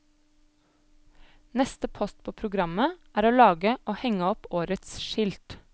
Neste post på programmet, er å lage og henge opp årets skilt.